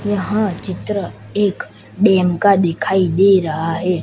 यह चित्र एक डैम का दिखाई दे रा है।